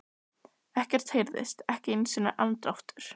Ekkert heyrðist, ekki einu sinni andardráttur.